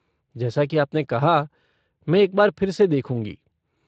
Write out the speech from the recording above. जैसा कि आपने कहा, मैं एक बार फिर से देखूँगी।